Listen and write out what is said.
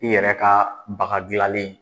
I yɛrɛ ka baga dilalen